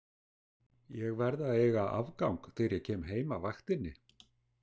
Ég verð að eiga afgang þegar ég kem heim af vaktinni